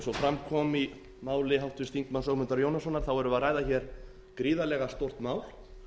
fram kom í máli háttvirts þingmanns ögmundar jónassonar erum við að ræða hér gríðarlega stórt mál